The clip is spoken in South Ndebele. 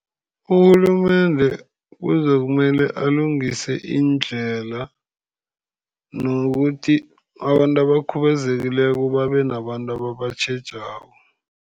Urhulumende kuzokumele alungise iindlela, nokuthi abantu abakhubazekileko babe nabantu ababatjhejako.